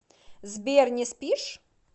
сбер не спишь